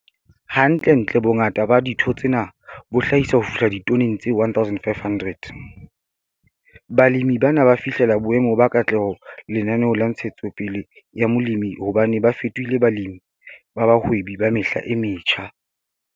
Hantlentle bongata ba ditho tsena bo hlahisa ho fihla ditoneng tse 1500. Balemi bana ba fihlela boemo ba katleho lenaneong la ntshetsopele ya molemi hobane ba fetohile Balemi ba Bahwebi ba Mehla e Metjha.